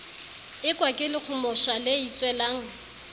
ekwa ke lekgomosha le itswelang